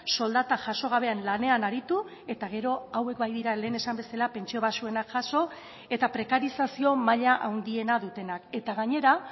soldata jaso gabean lanean aritu eta gero hauek baitira lehen esan bezala pentsio baxuenak jaso eta prekarizazio maila handiena dutenak eta gainera